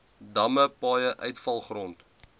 damme paaie uitvalgrond